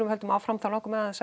höldum áfram langar mig aðeins